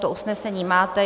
To usnesení máte.